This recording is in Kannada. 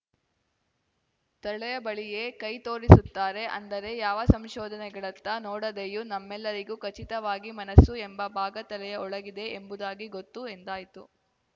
ತಲೆಯ ಬಳಿಯೇ ಕೈ ತೋರಿಸುತ್ತಾರೆ ಅಂದರೆ ಯಾವ ಸಂಶೋಧನೆಗಳತ್ತ ನೋಡದೆಯೂ ನಮ್ಮೆಲ್ಲರಿಗೂ ಖಚಿತವಾಗಿ ಮನಸ್ಸು ಎಂಬ ಭಾಗ ತಲೆಯ ಒಳಗಿದೆ ಎಂಬುದಾಗಿ ಗೊತ್ತು ಎಂದಾಯಿತು